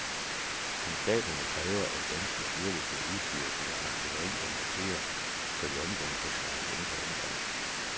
Konstablerne kræver, at danske styrker skal udstyres med artilleri og morterer, så de omgående kan svare igen på angreb.